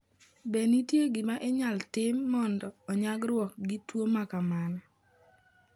Be nitie gima inyalo tim mondo onyagruok gi tuwo ma kamano?